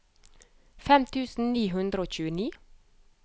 fem tusen ni hundre og tjueni